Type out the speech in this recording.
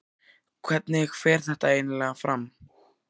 Hvernig fer þetta eiginlega fram?